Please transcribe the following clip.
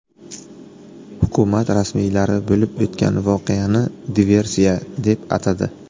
Hukumat rasmiylari bo‘lib o‘tgan voqeani diversiya deb atadi.